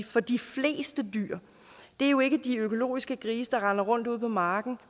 for de fleste dyr det er jo ikke de økologiske grise der render rundt ude på marken